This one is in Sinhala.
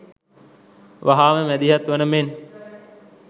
වහාම මැදිහත් වන මෙන්